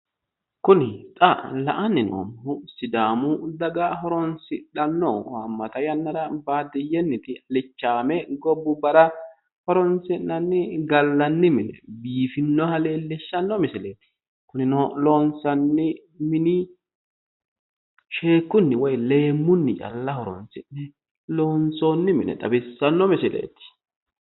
Kuni xa la'anni noommohu sidaamu daga horoonsidhanno haammata yannara baadiyyenniti alichaame gobbubbara horoonsi'nanni gallani mineeti biifinoha leellishanno misileeti kunino loonsanni mini sheekkunni woyi leemmunni calla horoonsi'ne loonsoonniha xawissanno misileeti